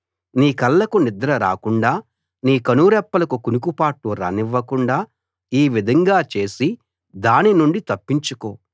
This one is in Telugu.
నీ కళ్ళకు నిద్ర రాకుండా నీ కనురెప్పలకు కునుకుపాట్లు రానివ్వకుండా ఈ విధంగా చేసి దాని నుండి తప్పించుకో